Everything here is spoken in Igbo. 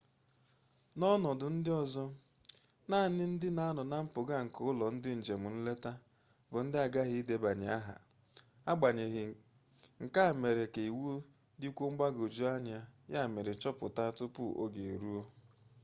n'ọnọdụ ndị ọzọ naanị ndị na-anọ na mpụga nke ụlọ ndị njem nleta bụ aghaghị ịdebanye aha agbanyeghị nke a mere ka iwu dịkwuo mgbagwojuanya ya mere chọpụta tupu oge eruo